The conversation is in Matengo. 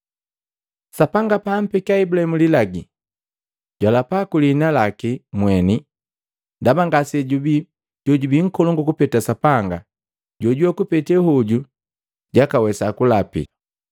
Sapanga pa ampekia Ibulahimu lilagi, jwalapa kwilihinalaki mweni, ndaba ngasejubii jojubii nkolongu kupeta Sapanga jojuwe kupete hoju jwakawesa kulapi.